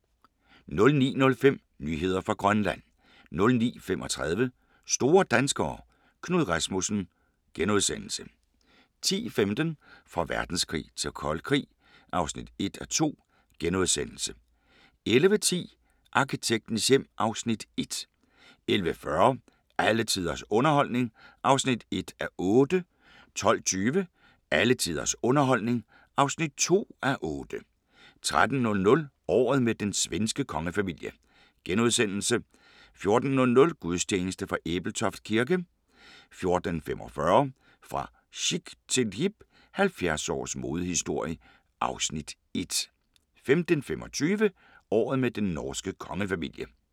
09:05: Nyheder fra Grønland 09:35: Store danskere – Knud Rasmussen * 10:15: Fra verdenskrig til kold krig (1:2)* 11:10: Arkitektens hjem (Afs. 1) 11:40: Alle tiders underholdning (1:8) 12:20: Alle tiders underholdning (2:8) 13:00: Året med den svenske kongefamilie * 14:00: Gudstjeneste fra Ebeltoft kirke 14:45: Fra chic til hip – 70 års modehistorie (Afs. 1) 15:25: Året med den norske kongefamilie